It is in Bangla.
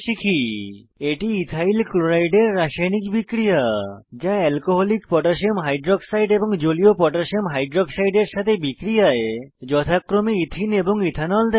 এটি ইথাইল ক্লোরাইড ইথাইল ক্লোরাইড এর রাসায়নিক বিক্রিয়া যা এলকোহলিক পটাসিয়াম হাইক্সাইড এবং জলীয় পটাসিয়াম হাইক্সাইড এর সাথে বিক্রিয়ায় যথাক্রমে ইথিন এবং ইথানল দেয়